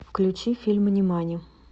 включи фильм нимани